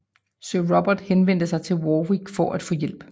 Sir Robert henvendte sig til Warwick for at få hjælp